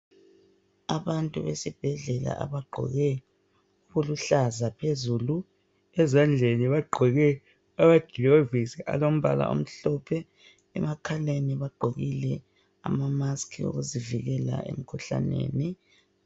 Abantu besibhedlela, okuluhlaza phezulu. Ezandleni bagqoke amaglovisi alombala omhlophe. Emakhaleni bagqokile ama- masks okuzivikela emkhuhlaneni.